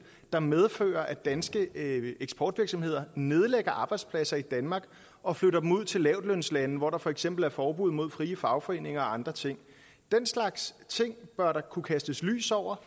der medfører at danske eksportvirksomheder nedlægger arbejdspladser i danmark og flytter dem ud til lavtlønslande hvor der for eksempel er forbud mod frie fagforeninger og andre ting den slags ting bør der kunne kastes lys over